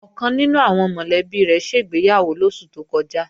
Ọ̀kan nínú àwọn mọ̀lẹ́bí rẹ̀ ṣègbéyàwó lóṣù tó kọjá